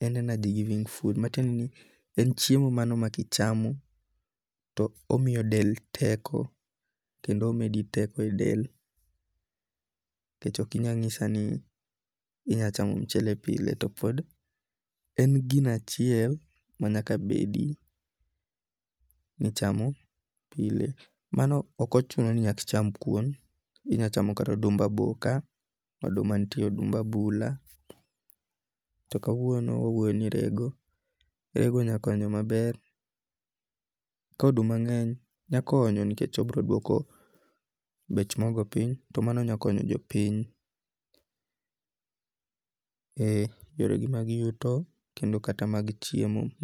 en energy giving food matiende ni en chiemo mano ma kichamo to omiyo del teko kendo omedi teko e del nikech okinya nyisa ni inyalo chamo michele pile to pod, en gino achiel manyak bedi nichamo pile, mano okochuno ni nyakicham kuon, inyalo chamo kato odumb aboka, odumanitie odumb abula to kawuono wauoyoni e rego, rego nyalo konyo maber, koduma nge'ny nyakonyo nikech obroduoko bech mogo piny to mano nyakonyo jo piny ee yoregi mag yuto kende kata mag chiemo.